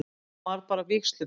Hann varð bara vígslubiskup.